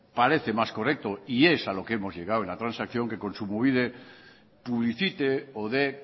parece más correcto y es a lo que hemos llegado en la transacción que kontsumobide publicite o de